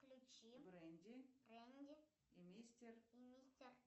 включи бренди и мистер